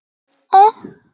Sköpun arðsins lokkar.